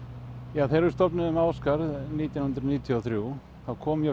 ja þegar við stofnuðum nítján hundruð níutíu og þrjú þá kom mjög